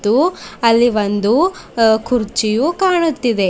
ತ್ತು ಅಲ್ಲಿ ಒಂದು ಅ ಕುರ್ಚಿಯೂ ಕಾಣುತ್ತಿದೆ.